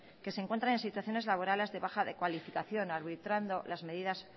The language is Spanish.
que se encuentran en situaciones laborales de baja cualificación arbitrando las medidas